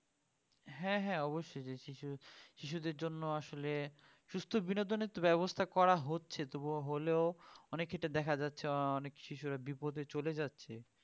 হ্যাঁ হ্যাঁ অবশ্যই শিশু শিশুদের জন্য আসলে সুস্থ বিনোদনের ব্যবস্থা করা হচ্ছে তবুও হলেও অনেক ক্ষেত্রে দেখা যাচ্ছে অনেক শিশুরা বিপথে চলে যাচ্ছে